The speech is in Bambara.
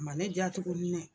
Ma ne